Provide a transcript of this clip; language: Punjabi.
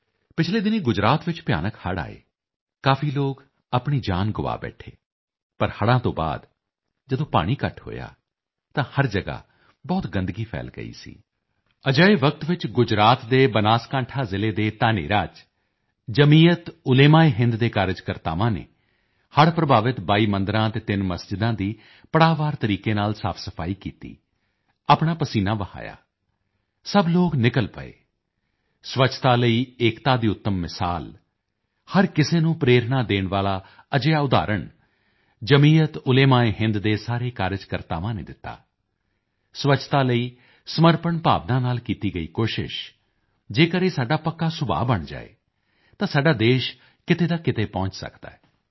ਪਿਛਲੇ ਦਿਨੀਂ ਗੁਜਰਾਤ ਚ ਭਿਆਨਕ ਹੜ੍ਹ ਆਏ ਕਾਫੀ ਲੋਕ ਆਪਣੀ ਜਾਨ ਗੁਆ ਬੈਠੇ ਪਰ ਹੜ੍ਹਾਂ ਤੋਂ ਬਾਅਦ ਜਦ ਪਾਣੀ ਘੱਟ ਹੋਇਆ ਤਾਂ ਹਰ ਜਗਾ ਬਹੁਤ ਗੰਦਗੀ ਫੈਲ ਗਈ ਸੀ ਅਜਿਹੇ ਵਕਤ ਵਿੱਚ ਗੁਜਰਾਤ ਦੇ ਬਨਾਸਕਾਂਠਾ ਜ਼ਿਲੇ ਦੇ ਧਾਨੇਰਾ ਚ ਜਮੀਅਤਓਲੇਮਾਏਹਿੰਦ ਦੇ ਕਾਰਜਕਰਤਾਵਾਂ ਨੇ ਹੜ੍ਹ ਪ੍ਰਭਾਵਿਤ 22 ਮੰਦਰਾਂ ਅਤੇ 3 ਮਸਜਿਦਾਂ ਦੀ ਪੜਾਅਵਾਰ ਤਰੀਕੇ ਨਾਲ ਸਾਫਸਫਾਈ ਕੀਤੀ ਆਪਣਾ ਪਸੀਨਾ ਵਹਾਇਆ ਸਭ ਲੋਕ ਨਿਕਲ ਪਏ ਸਵੱਛਤਾ ਲਈ ਏਕਤਾ ਦੀ ਉੱਤਮ ਮਿਸਾਲ ਹਰ ਕਿਸੇ ਨੂੰ ਪ੍ਰੇਰਣਾ ਦੇਣ ਵਾਲਾ ਅਜਿਹਾ ਉਦਾਹਰਣ ਜਮੀਅਤਓਲੇਮਾਏਹਿੰਦ ਦੇ ਸਾਰੇ ਕਾਰਜਕਰਤਾਵਾਂ ਨੇ ਦਿੱਤਾ ਸਵੱਛਤਾ ਲਈ ਸਮਰਪਣ ਭਾਵਨਾ ਨਾਲ ਕੀਤੀ ਗਈ ਕੋਸ਼ਿਸ਼ ਜੇਕਰ ਇਹ ਸਾਡਾ ਪੱਕਾ ਸੁਭਾਅ ਬਣ ਜਾਏ ਤਾਂ ਸਾਡਾ ਦੇਸ਼ ਕਿਤੇ ਦਾ ਕਿਤੇ ਪਹੁੰਚ ਸਕਦਾ ਹੈ